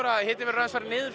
að hitinn hefur farið niður